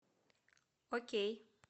окей